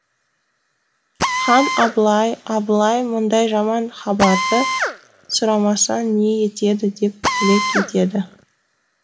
хан абылай абылай мұндай жаман хабарды сұрамасаң не етеді деп тілек етеді